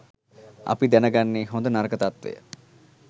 අපි දැන ගන්නේ හොඳ නරක තත්වය.